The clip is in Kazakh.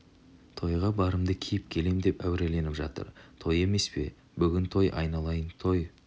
тойға барымды киіп келем деп әуреленіп жатыр той емес пе бүгін той айналайын той